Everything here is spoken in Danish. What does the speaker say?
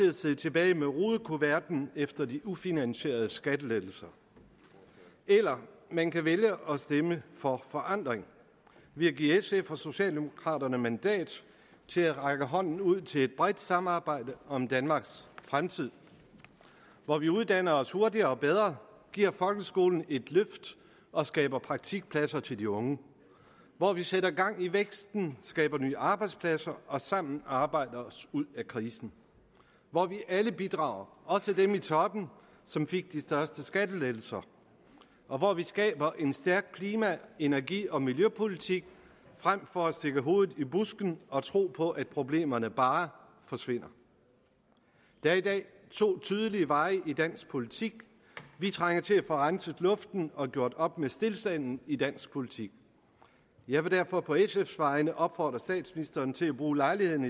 at sidde tilbage med rudekuverten efter de ufinansierede skattelettelser eller man kan vælge at stemme for forandring ved at give sf og socialdemokraterne mandat til at række hånden ud til et bredt samarbejde om danmarks fremtid hvor vi uddanner os hurtigere og bedre giver folkeskolen et løft og skaber praktikpladser til de unge hvor vi sætter gang i væksten skaber nye arbejdspladser og sammen arbejder os ud af krisen hvor vi alle bidrager også dem i toppen som fik de største skattelettelser og hvor vi skaber en stærk klima energi og miljøpolitik frem for at stikke hovedet i busken og tro på at problemerne bare forsvinder der er i dag to tydelige veje i dansk politik vi trænger til at få renset luften og gjort op med stilstanden i dansk politik jeg vil derfor på sfs vegne opfordre statsministeren til at bruge lejligheden